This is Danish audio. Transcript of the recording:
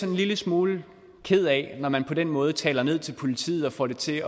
en lille smule ked af det når man på den måde taler ned til politiet og får det til